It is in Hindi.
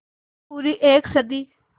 पूरी एक सदी